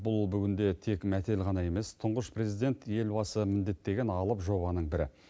бұл бүгінде тек мәтел ғана емес тұңғыш президент елбасы міндеттеген алып жобаның бірі